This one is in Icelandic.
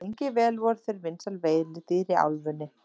Lengi vel voru þeir vinsæl veiðidýr í álfunni.